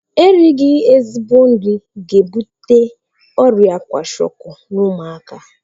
Erighi ezigbo nri ga-ebute ọrịa kwashiọkọ n'ụmụaka